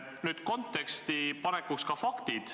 Nüüd aga konteksti panekuks ka faktid.